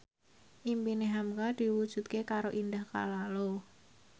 impine hamka diwujudke karo Indah Kalalo